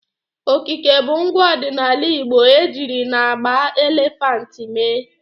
Okike bụ ngwa ọdịnala igbo ejiri n'agba elephant mee.